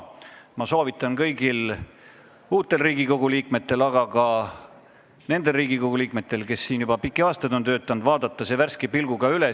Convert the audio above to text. Ma soovitan kõigil uutel Riigikogu liikmetel, aga ka nendel Riigikogu liikmetel, kes siin juba pikki aastaid on töötanud, vaadata see värske pilguga üle.